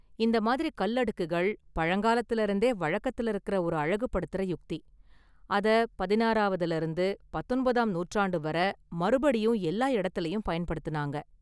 இந்த மாதிரி கல் அடுக்குகள் பழங்காலத்துல இருந்தே வழக்கத்துல இருக்குற ஒரு அழகுபடுத்துற யுக்தி, அத பதினாறாவதுல இருந்து பத்தொன்பதாம் நூற்றாண்டு வர மறுபடியும் எல்லா எடத்துலையும் பயன்படுத்துனாங்க.